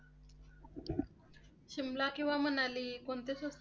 शिमला किंवा मनाली कोणते?